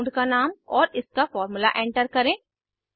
compound का नाम और इसका फार्मूला एंटर करें